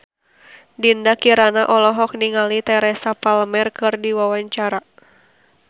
Dinda Kirana olohok ningali Teresa Palmer keur diwawancara